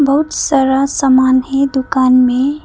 बहुत सारा सामान है दुकान में।